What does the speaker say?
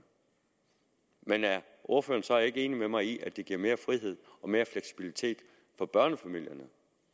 men er ordføreren så ikke enig med mig i at det giver frihed og mere fleksibilitet for børnefamilierne